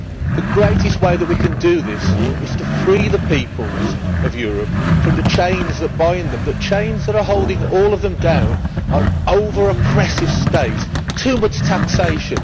The greatest way that we can do this is to free the peoples of Europe from the chains that bind them and are holding all of them down the over oppressive state and too much taxation.